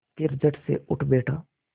फिर झटसे उठ बैठा